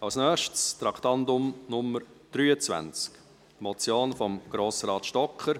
Als Nächstes kommen wir zu Traktandum 23, der Motion von Grossrat Stocker: